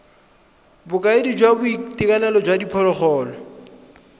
bokaedi jwa boitekanelo jwa diphologolo